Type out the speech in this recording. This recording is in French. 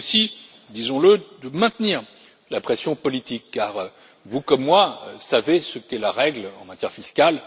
Il est aussi, disons le, de maintenir la pression politique car vous comme moi savons ce qu'est la règle en matière fiscale.